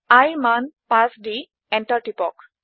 iৰ মান 5 দি এন্টাৰ টিপক